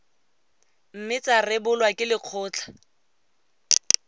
mme tsa rebolwa ke lekgotlha